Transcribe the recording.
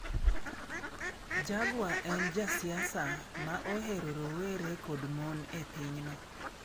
Jaguar en ja siasa ma ohero rowere kod mon e pinyno.